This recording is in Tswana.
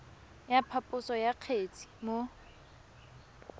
ya phaposo ya kgetse mo